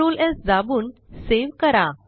Ctrl S दाबून save करा